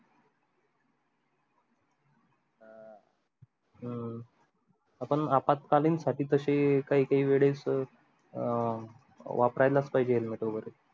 हम्म आपण आपात्कालीन साठी तशे काही काही वेडेस sir अं वापरायलाच पाहिजे पाहिजे helmet वगैरे